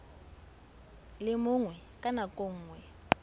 le mongwe ka nako nngwe